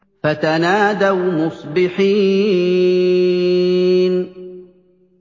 فَتَنَادَوْا مُصْبِحِينَ